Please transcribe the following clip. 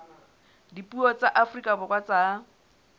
dipuo tsa afrika borwa tsa